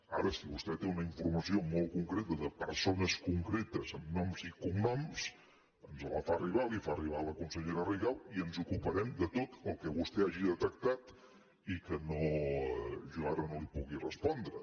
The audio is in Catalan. ara si vostè té una informació molt concreta de persones concretes amb noms i cognoms ens la fa arribar la fa arribar a la consellera rigau i ens ocuparem de tot el que vostè hagi detectat i que jo ara no li pugui respondre